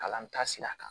Kalan taasira kan